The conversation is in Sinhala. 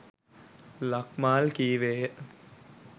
ලක්මාල් කීවේය.